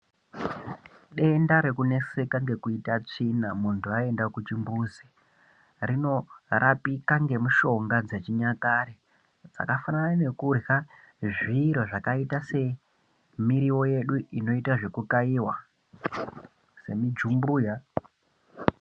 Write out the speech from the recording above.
Denda rekuneseka ngekuita tsvina muntu waenda kuchimbuzi rinorapika ngemishonga dzechinyakare zvakafanana nekurya zviro zvakaita semiriwo yedu inoita zvekukayiwa semujumbuya.